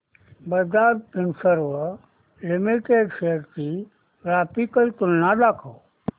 Bajaj Finserv limited shares ची graphical तुलना दाखव